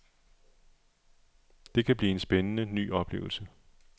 Det kan blive en ny spændende oplevelse.